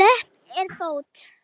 Löpp er fót.